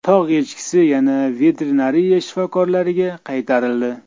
Tog‘ echkisi yana veterinariya shifokorlariga qaytarildi.